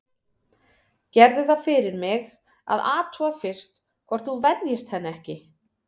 Gerðu það fyrir mig að athuga fyrst hvort þú venjist henni ekki.